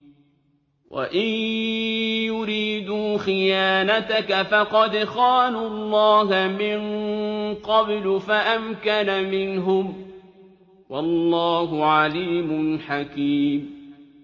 وَإِن يُرِيدُوا خِيَانَتَكَ فَقَدْ خَانُوا اللَّهَ مِن قَبْلُ فَأَمْكَنَ مِنْهُمْ ۗ وَاللَّهُ عَلِيمٌ حَكِيمٌ